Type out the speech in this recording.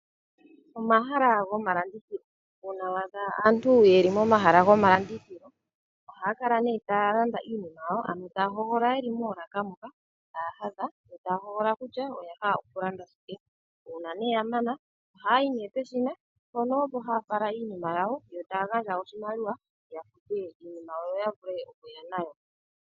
Omahala gomalandithilo, uuna wa adha aantu ye li momahala gomalandithilo. Oha ya kala ta ya landa iinima yawo. Ano ta ya hogolola ye li moolaka moka ta ya hadha yo taya hogolola kutya oya hala oku landa shike. Uuna ya mana oha ya yi peshina, mpono ha ya fala iinima yawo yo ta ya gandja oshimaliwa ya fute yo ya vule okuya niilandomwa yawo.